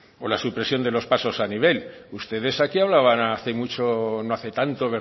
o la supresión de los pasos a nivel ustedes aquí hablaban no hace mucho no hace tanto